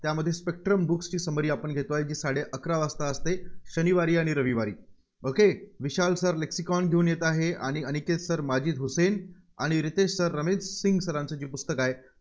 त्यामध्ये स्पेक्ट्रम बुकची summary आपण घेतोय. जी साडेअकरा वाजता असते शनिवारी आणि रविवारी. okay विशाल sirlexicon घेऊन येत आहे. आणि अनिकेत sir माजीद हुसेन आणि रितेश sir रमेश सिंग sir चं पुस्तक आहे